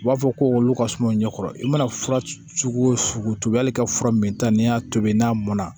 U b'a fɔ ko olu ka suma ɲɛ kɔrɔ i mana cogo o cogo hali ka fura min ta n'i y'a tobi n'a mɔn na